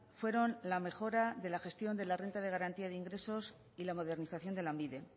fueron la mejora de la gestión de la renta de garantía de ingresos y la modernización de lanbide